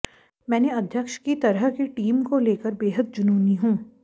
मैंने अध्यक्ष की तरह की टीम को लेकर बेहद जुनूनी हूं